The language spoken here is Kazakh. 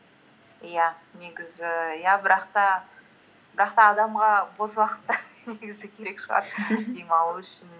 иә негізі иә бірақ та адамға бос уақыт та негізі керек шығар демалу үшін